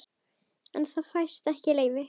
En það fæst ekki leyfi.